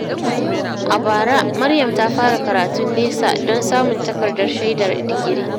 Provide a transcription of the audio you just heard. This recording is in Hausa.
A bara, Maryam ta fara karatun nesa don samun takardar shaidar digiri.